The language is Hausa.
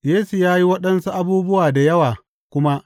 Yesu ya yi waɗansu abubuwa da yawa kuma.